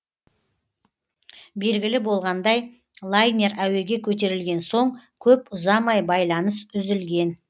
белгілі болғандай лайнер әуеге көтерілген соң көп ұзамай байланыс үзілген